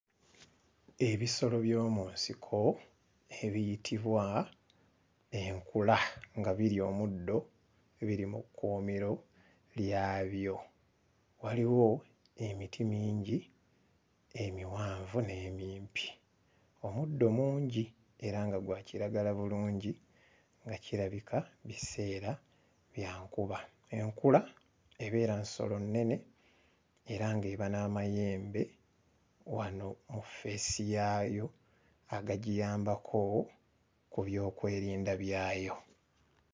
Ebisolo by'omu nsiko ebiyitibwa enkula nga birya omuddo, biri mu kkuumiro lyabyo. Waliwo emiti mingi, emiwanvu n'emimpi. Omuddo mungi era nga gwa kiragala bulungi, nga kirabika biseera bya nkuba. Enkula ebeera nsolo nnene era ng'eba n'amayembe wano mu ffeesi yaayo agagiyambako ku byokwerinda byayo.